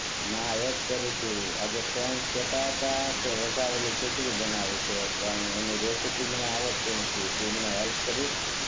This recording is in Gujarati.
ના એજ કરુ છું આતો ફ્રેન્ડ્સ કહેતા હતા કે વઘારેલી ખીચડી બનાવી છે પણ એની રેસીપી મને આવડ્તી નથી તુ મને હેલ્પ કરીશ?